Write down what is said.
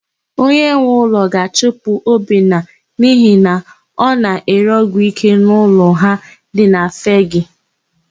Onyenweụlọ ga-achụpụ Obinna n'ihi na ọ na-ere ọgwụike n'ụlọ ha dị na Fegee.